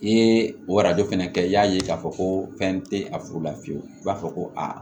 I ye o fana kɛ i y'a ye k'a fɔ ko fɛn tɛ a furu la fiyewu i b'a fɔ ko aa